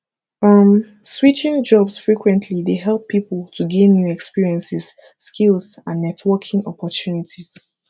um switching jobs frequently dey help people to gain new experiences skills and networking opportunities